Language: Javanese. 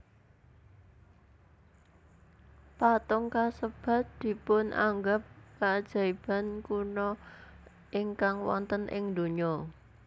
Patung kasebat dipunanggep kaajaiban kuna ingkang wonten ing dunya